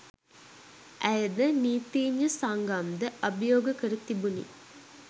ඇයද නීතීඥ සංගම්ද අභියෝග කර තිබුණි